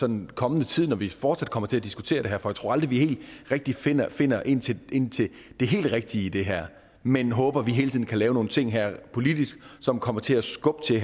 den kommende tid når vi fortsat kommer til at diskutere det her for jeg tror aldrig vi rigtig finder finder ind til det helt rigtige i det her men håber at vi hele tiden kan lave nogle ting her politisk som kommer til at skubbe til